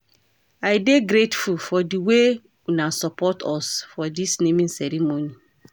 I dey grateful for di way una support us for dis naming ceremony.